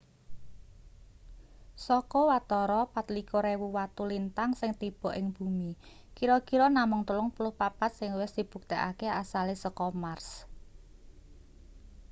saka watara 24.000 watu lintang sing tiba ing bumi kira-kira namung 34 sing wis dibuktekake asale saka mars